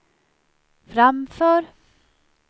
framför